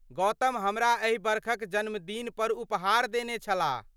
गौतम हमरा एहि बरखक जन्मदिन पर उपहार देने छलाह।